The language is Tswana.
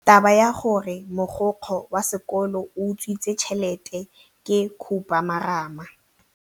Taba ya gore mogokgo wa sekolo o utswitse tšhelete ke khupamarama.